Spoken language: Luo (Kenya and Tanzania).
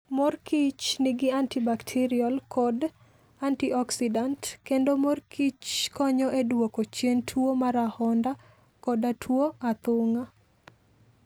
Mor kich nigi anti-bakterial kod antioxidant, kendo mor kich konyo e duoko chien tuwo mar ahonda koda tuwo athung'a